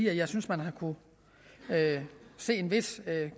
at jeg synes man har kunnet se en vis